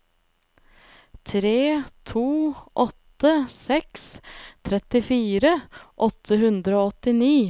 tre to åtte seks trettifire åtte hundre og åttini